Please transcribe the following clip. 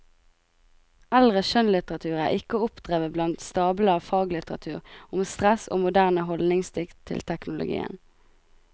Eldre skjønnlitteratur er ikke å oppdrive blant stablene av faglitteratur om stress og moderne hyldningsdikt til teknologien.